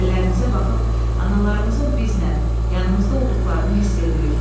Əllərimizə baxıb analarımızın bizlə, yanımızda olduqlarını hiss edirik.